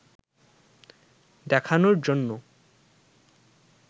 দেখানোর জন্য